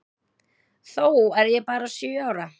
Þó er ég bara sjö ára.